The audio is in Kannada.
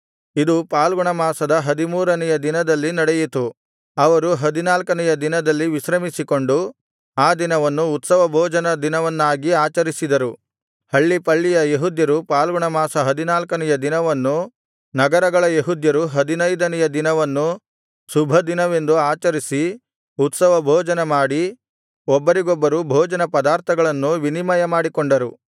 ಇದು ಫಾಲ್ಗುಣಮಾಸದ ಹದಿಮೂರನೆಯ ದಿನದಲ್ಲಿ ನಡೆಯಿತು ಅವರು ಹದಿನಾಲ್ಕನೆಯ ದಿನದಲ್ಲಿ ವಿಶ್ರಮಿಸಿಕೊಂಡು ಆ ದಿನವನ್ನು ಉತ್ಸವಭೋಜನ ದಿನವನ್ನಾಗಿ ಆಚರಿಸಿದರು ಹಳ್ಳಿಪಳ್ಳಿಯ ಯೆಹೂದ್ಯರು ಫಾಲ್ಗುಣಮಾಸದ ಹದಿನಾಲ್ಕನೆಯ ದಿನವನ್ನು ನಗರಗಳ ಯೆಹೂದ್ಯರು ಹದಿನೈದನೆಯ ದಿನವನ್ನೂ ಶುಭದಿನವೆಂದು ಆಚರಿಸಿ ಉತ್ಸವಭೋಜನಮಾಡಿ ಒಬ್ಬರಿಗೊಬ್ಬರು ಭೋಜನ ಪದಾರ್ಥಗಳನ್ನು ವಿನಿಮಯ ಮಾಡಿಕೊಂಡರು